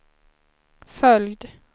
följd